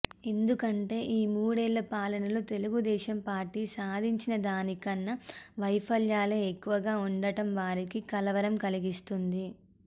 ఎందుకంటే ఈ మూడేళ్లపాలనలో తెలుగుదేశం పార్టీ సాధించిన దానికన్నా వైఫల్యాలే ఎక్కువగా ఉండడం వారికి కలవరం కలిగిస్తుంది